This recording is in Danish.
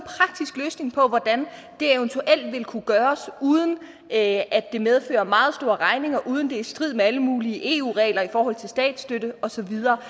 en på hvordan det eventuelt vil kunne gøres uden at det medfører meget store regninger og uden er i strid med alle mulige eu regler i forhold til statsstøtte og så videre